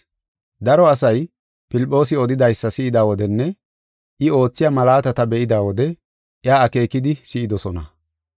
Daro asay Filphoosi odidaysa si7ida wodenne I oothiya malaatata be7ida wode iya akeekidi si7idosona.